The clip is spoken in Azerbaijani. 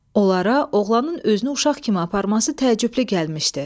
Onlara oğlanın özünü uşaq kimi aparması təəccüblü gəlmişdi.